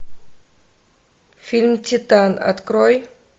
фильм титан открой